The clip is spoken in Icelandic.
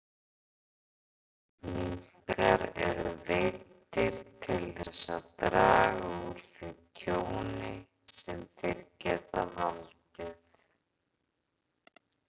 Minkar eru veiddir til þess að draga úr því tjóni sem þeir geta valdið.